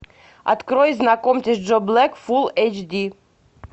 открой знакомьтесь джо блэк фулл эйч ди